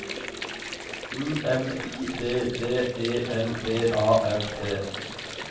U M I D D E L B A R T